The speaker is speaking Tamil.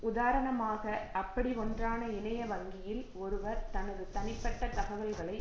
உதாரணமாக அப்படி ஒன்றான இணைய வங்கியில் ஒருவர் தனது தனிப்பட்ட தகவல்களை